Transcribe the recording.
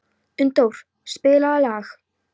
Unndór, spilaðu lag.